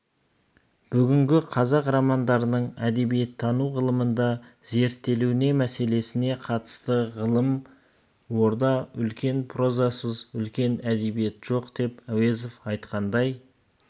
бүгінгі қазақ романдарының әдебиеттану ғылымында зерттелуіне мәселесіне қатысты ғалым орда үлкен прозасыз үлкен әдебиет жоқ деп әуезов айтқандай